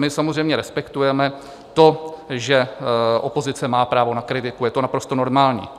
My samozřejmě respektujeme to, že opozice má právo na kritiku, je to naprosto normální.